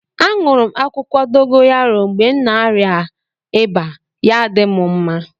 A nụrụ m akwukwo dogoyaro mgbe na arịa ịba ya-adi m mma.